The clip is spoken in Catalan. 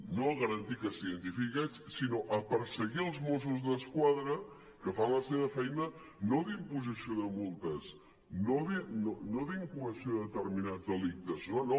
no a garantir que s’identifiqui aquests sinó a perseguir els mossos d’esquadra que fan la seva feina no d’imposició de multes no d’incoació de determinats delictes no no